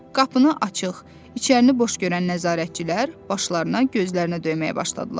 Qapını açıq, içərini boş görən nəzarətçilər başlarına, gözlərinə döyməyə başladılar.